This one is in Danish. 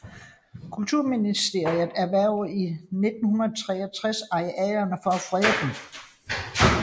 Kulturministeriet erhvervede i 1963 arealerne for at frede dem